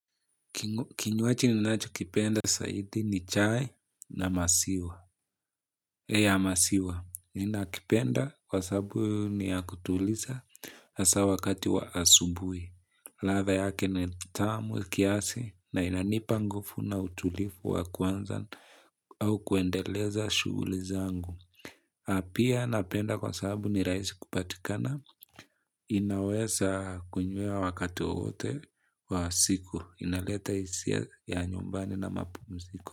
Kinywaji ninachokipenda saidi ni chai ya masiwa, ninakipenda kwa sabu ni ya kutulisa hasa wakati wa asubui. Latha yake ni tamu kiasi na inanipa ngufu na utulifu wa kuanza au kuendeleza shuguli zangu. Pia napenda kwa sababu ni raisi kupatikana, inawesa kunywewa wakati wowote wa siku, inaleta isia ya nyumbani na mapumsiko.